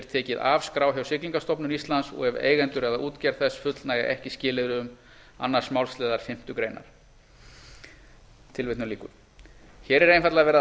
tekið af skrá hjá siglingastofnun íslands og ef eigendur eða útgerð þess fullnægja ekki skilyrðum síðari málsliðar fimmtu grein hér er einfaldlega verið að